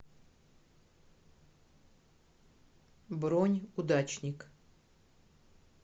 бронь удачник